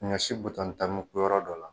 Ɲɔ si butɔn tan bɛ kun yɔrɔ dɔ la.